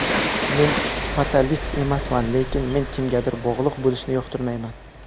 Men fatalist emasman, lekin men kimgadir bog‘liq bo‘lishni yoqtirmayman.